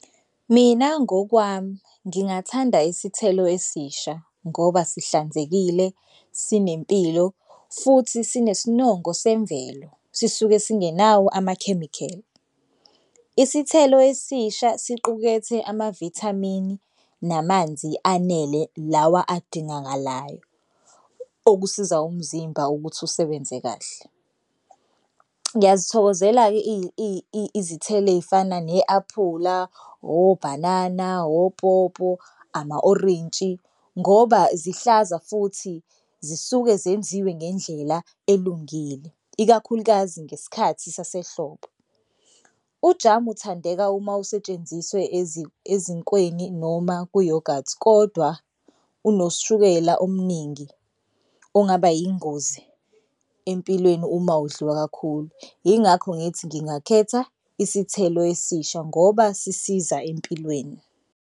Mina ngokwami ngingathanda isithelo esisha ngoba sihlanzekile sinempilo futhi sinesinongo semvelo sisuke singenawo amakhemikheli. Isithelo esisha siqukethe amavithamini namanzi anele lawa kudingakalayo okusiza umzimba ukuthi usebenze kahle. Ngiyazithokozela-ke izithelo ey'fana ne-aphula, obhanana, opopo, ama-orintshi ngoba zihlaza futhi zisuke zenziwe ngendlela elungile, ikakhulukazi ngesikhathi sasehlobo. Ujamu uthandeka uma usetshenziswe ezinkweni noma kuyogathi kodwa unoshukela omningi ongaba yingozi empilweni uma udliwa kakhulu. Yingakho ngithi ngingakhetha isithelo esisha ngoba sisiza empilweni.